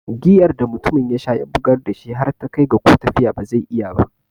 Giyar da mutumin yasha ya bugar dashi har ta kai ga ko tafiya ba zai iya ba.